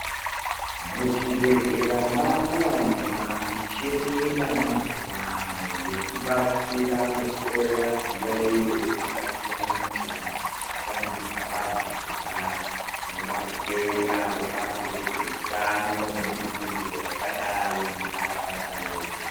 Muchibhedhlera makuwanikwa micheni yamazuvano yekubatsira kuhloya zviyaiyo zvakasiyana-siyana zvatambudza vanhu kudai. Tinoda kutenda vebazi rezveutano nebudiriro yakadai munharaunda medu.